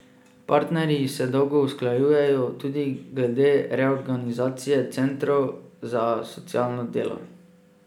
Partnerji se dolgo usklajujejo tudi glede reorganizacije centrov za socialno delo.